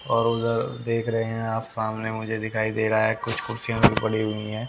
और उधर देख रहे है आप सामने मुझे दिखाई दे रहा है। कुछ कुर्सियां पड़ी हुई है।